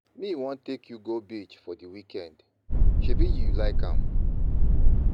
Me wan take you go beach for di weekend, sebi you like am